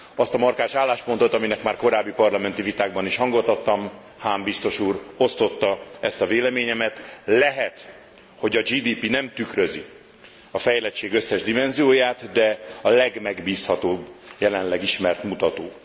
Azt a markáns álláspontot, aminek már korábbi parlamenti vitákban is hangot adtam, Hahn biztos úr osztotta ezt a véleményemet lehet, hogy a GDP nem tükrözi a fejlettség összes dimenzióját, de a legmegbízhatóbb jelenleg ismert mutató.